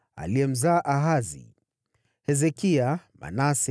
mwanawe huyo alikuwa Ahazi, mwanawe huyo alikuwa Hezekia, mwanawe huyo alikuwa Manase,